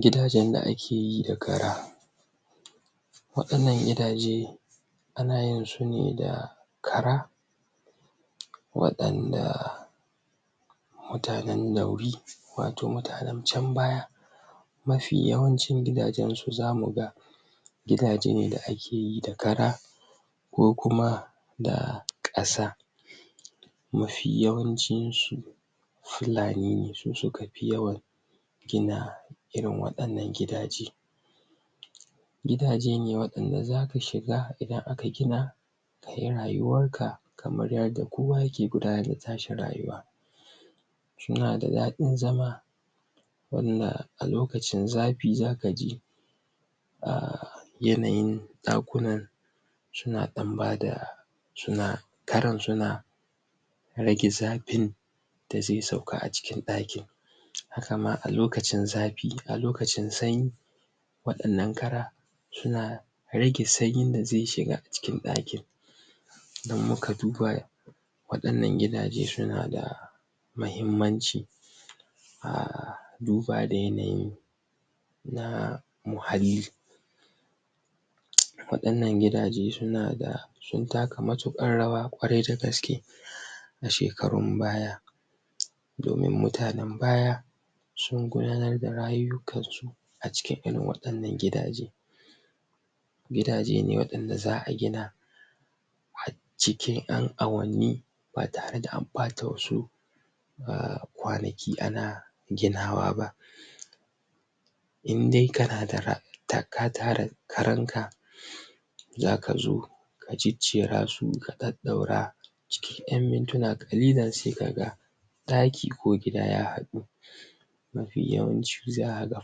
gidajen da akeyi da kara wa innan gidaje ana yinsu ne da kara waɗanda mutanen dauri wato mutanen can baya mafi yawan ci gida gensu zamu ga gidaje ne da akeyi da kara ko kuma da kasa mafi yawancin su fulani ne su suka fi yawan gina irin wadannan gidaje gidaje ne wanda zaka shiga idan aka gina kayi rauwar ka kamar yadda kowa yake gudanar da tashi rayuwar suna da dadin zama wanda a lokacin zafi zakaji? yanayin dakunan suna dan bada suna karan suna rage zafin da zai sauka acikin dakin haka ma alokacin zafi a lokacin sanyi wadannan kara suna rage sanyin da zai shiga cikin dakin in muka duba wadannan gida je suna da muhimmanci? duba da yanayin na muhalli? wadannan gidaje suna da sun taka matukar rawa da gaske a shekarun baya domin mutanen baya sun gudanar da rayukansu acikin wadan nan gidaje gidaje ne wanda za'a gina acikin yan awanni ba tare da an ɓata wasu kwanaki a na gina wa ba in dai kana ka tara karanka zaka zo ka jajjera su ka daura su cikin yan mintuna ƙalilin sai ka ga daki ko gida ya hadu mafi yawanci zakaga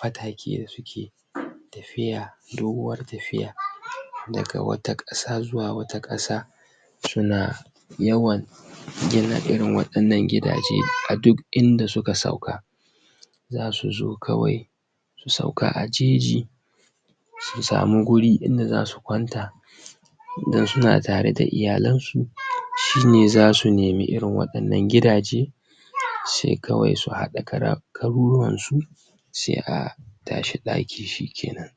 fatake suke tafiya doguwar tafiya daga wata kasa zuwa wata kasa suna yawan gina irin wannan gidaje a duk inda suka sauka zasu zo su sauka a jeji su sami guri inda zasu kwanta idan suna tare da iyalensu shine zasu nemi irin wannan gidaje sai kawai su hada kara karuwansu sai a tashi daki shike nan